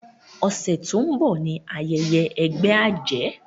ọsẹ to n bó ní ayẹyẹ ègbé ajé